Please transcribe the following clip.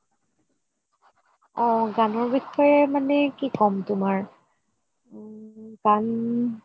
অ গানৰ বিষয়ে মানে কি কম তোমাৰ ওম গান